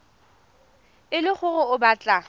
e le gore o batla